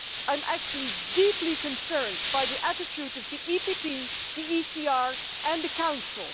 I am actually deeply concerned by the attitude of the PPE, the ECR and the Council.